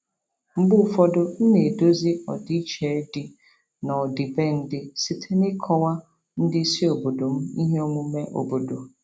Mgbe ụfọdụ, m na-edozi ọdịiche dị n'ọdịbendị site n'ịkọwa ndị isi obodo m ihe omume obodo.